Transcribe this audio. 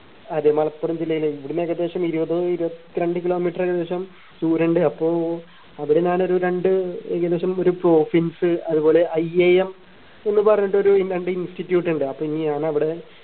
അതെ മലപ്പുറം ജില്ലയിലെ ഇവിടുന്ന് ഏകദേശം ഇരുപത് ഇരുപത്രണ്ട് kilometer ഏകദേശം ദൂരണ്ട് അപ്പോ അവിടെ ഞാൻ ഒരു രണ്ട് ഏകദേശം ഒരു അതുപോലെ I am എന്ന് പറഞ്ഞിട്ട് ഒരു രണ്ട് institute ഉണ്ട് അപ്പോ ഇനി ഞാൻ അവിടെ